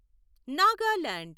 Nagaland